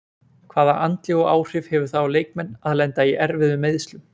Hvaða andlegu áhrif hefur það á leikmenn að lenda í erfiðum meiðslum?